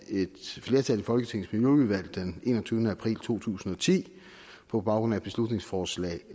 flertal i folketingets miljøudvalg den enogtyvende april to tusind og ti på baggrund af et beslutningsforslag